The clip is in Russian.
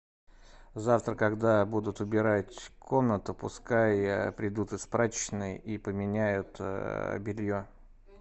завтра когда будут убирать комнату пускай придут из прачечной и поменяют белье